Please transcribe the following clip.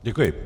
Děkuji.